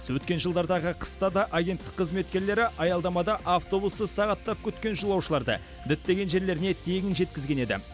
өткен жылдардағы қыста да агенттік қызметкерлері аялдамада автобусты сағаттап күткен жолаушыларды діттеген жерлеріне тегін жеткізген еді